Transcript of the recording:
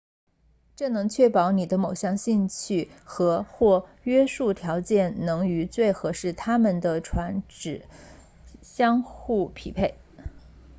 这能确保你的某项兴趣和或约束条件能与最适合他们的船只相互匹配